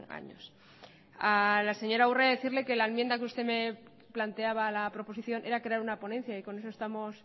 años a la señora urrea decirle que la enmienda que usted me planteaba a la proposición era crear una ponencia y con eso estamos